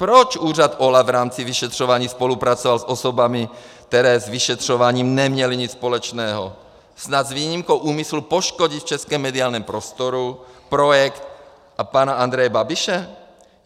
Proč úřad OLAF v rámci vyšetřování spolupracoval s osobami, které s vyšetřováním neměly nic společného, snad s výjimkou úmyslu poškodit v českém mediálním prostoru projekt a pana Andreje Babiše?